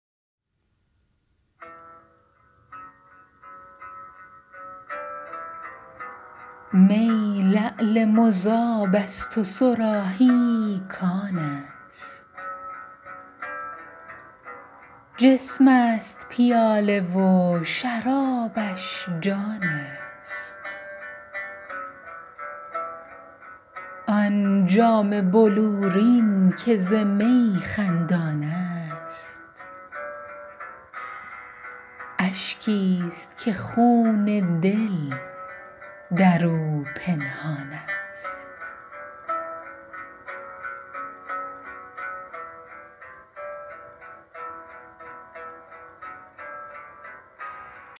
می لعل مذاب است و صراحی کان است جسم است پیاله و شرابش جان است آن جام بلورین که ز می خندان است اشکی است که خون دل در او پنهان است